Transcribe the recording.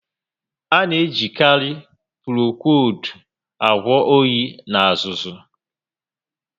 A na ejikarị Prokoowudu agwọ óyi na azụzụ